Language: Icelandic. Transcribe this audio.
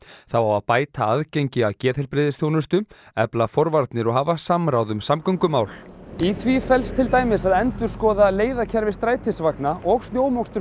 þá á að bæta aðgengi að geðheilbrigðisþjónustu efla forvarnir og hafa samráð um samgöngumál í því felst til dæmis að endurskoða leiðakerfi strætisvagna og snjómokstur